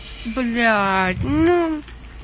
блять ну